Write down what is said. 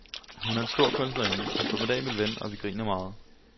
Hun er en stor kunstnerinde, en formidabel ven, og vi griner meget.